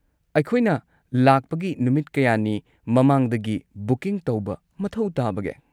ꯑꯩꯈꯣꯏꯅ ꯂꯥꯛꯄꯒꯤ ꯅꯨꯃꯤꯠ ꯀꯌꯥꯅꯤ ꯃꯃꯥꯡꯗꯒꯤ ꯕꯨꯀꯤꯡ ꯇꯧꯕ ꯃꯊꯧ ꯇꯥꯕꯒꯦ?